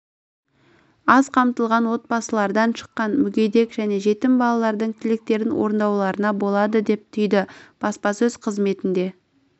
аз қамтылған отбасылардан шыққан мүгедек және жетім балалардың тілектерін орындауларына болады деп түйді баспасөз қызметінде